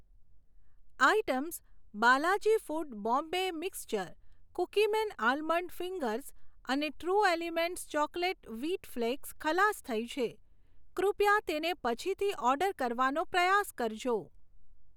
Items Balaji foods Bombay mixture, Cookieman almond fingers અને true elements chocolate wheat flax ખલાસ થઈ છે, કૃપયા તેને પછીથી ઓર્ડર કરવાનો પ્રયાસ કરજો.